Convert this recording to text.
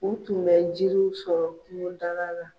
U tun bɛ jiriw sɔrɔ kungo dala la.